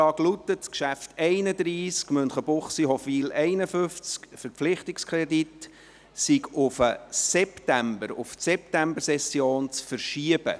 Er lautet: «Das Traktandum 31, Münchenbuchsee, Hofwil 51, Verpflichtungskredit ist auf die Septembersession zu verschieben.